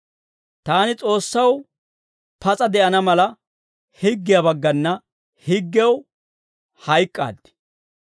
Taani Kiristtoosaw pas'a de'ana mala, higgiyaa baggana higgew hayk'k'aaddi.